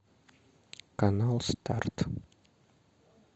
канал старт